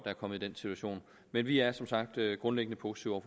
er kommet i den situation men vi er som sagt grundlæggende positive